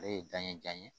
Ale ye dan ye jan ye